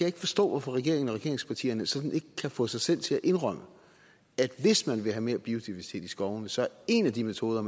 ikke forstå hvorfor regeringen og regeringspartierne sådan ikke kan få sig selv til at indrømme at hvis man vil have mere biodiversitet i skovene så er en af de metoder